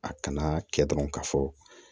A kana kɛ dɔrɔn ka fɔ